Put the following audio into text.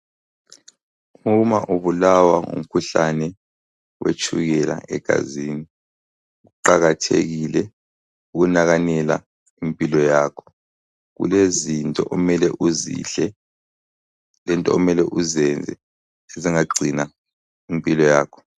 Uma ubulawa ngumkhuhlane wetshukela egazini. Kuqakathekile ukunakanela impilo yakho. Kulezinto omele uzidle lento omele uzenze ezingagcina impilo yakho.